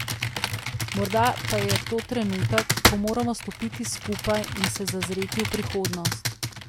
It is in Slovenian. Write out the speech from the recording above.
Morda pa je to trenutek, ko moramo stopiti skupaj in se zazreti v prihodnost.